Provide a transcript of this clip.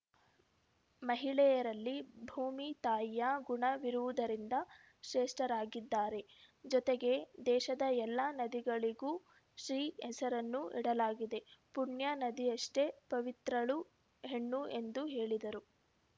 ಮಹಿಳೆಯರಲ್ಲಿ ಭೂಮಿ ತಾಯಿಯ ಗುಣ ವಿರುವುದರಿಂದ ಶ್ರೇಷ್ಠರಾಗಿದ್ದಾರೆ ಜೊತೆಗೆ ದೇಶದ ಎಲ್ಲ ನದಿಗಳಿಗೂ ಸ್ತ್ರೀ ಹೆಸರನ್ನು ಇಡಲಾಗಿದೆ ಪುಣ್ಯ ನದಿಯಷ್ಟೇ ಪವಿತ್ರಳು ಹೆಣ್ಣು ಎಂದು ಹೇಳಿದರು